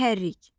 Mühərrik.